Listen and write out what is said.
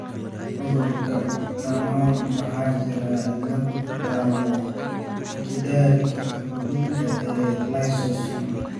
Cudurka Danon waxaa jira cillad ku taal gidaarka (xubinta) ee lysosome.